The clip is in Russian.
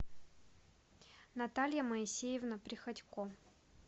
наталья моисеевна приходько